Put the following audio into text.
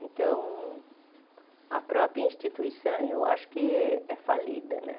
Então, a própria instituição, eu acho que é falida, né?